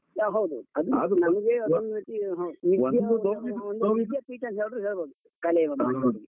ಹ ಹೌದು ಹೌದು ಅಭಿವೃದ್ಧಿ ನಮ್ಗೆ ಅದೊಂದು ರೀತಿ .